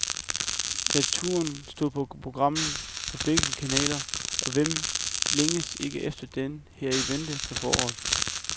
Naturen stod på programmet på begge kanaler, og hvem længes ikke efter den, her i venten på foråret.